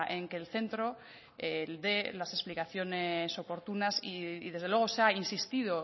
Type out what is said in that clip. en que el centro dé las explicaciones oportunas y desde luego se ha insistido